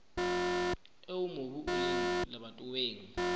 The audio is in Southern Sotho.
eo mobu o leng lebatoweng